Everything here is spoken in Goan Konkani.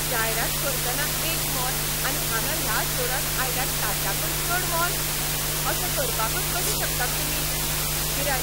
जायरात करतना एक मोल आनी हांगां ह्या स्टोरांत आयल्यार ताच्याकय चड मोल? अशें करपाकच कशे शकतात तुमी? गिरायक